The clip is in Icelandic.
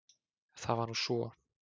Það var nú svo!